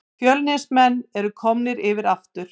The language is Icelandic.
Fjölnismenn eru komnir yfir aftur